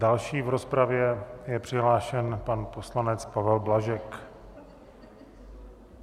Další v rozpravě je přihlášen pan poslanec Pavel Blažek.